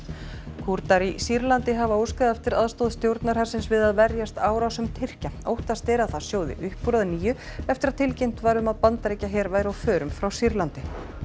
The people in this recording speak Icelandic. Kúrdar í Sýrlandi hafa óskað eftir aðstoð stjórnarhersins við að verjast árásum Tyrkja óttast er að það sjóði upp úr að nýju eftir að tilkynnt var að Bandaríkjaher væri á förum frá Sýrlandi